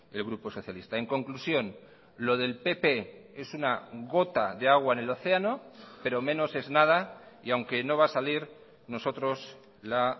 el grupo socialista en conclusión lo del pp es una gota de agua en el océano pero menos es nada y aunque no va a salir nosotros la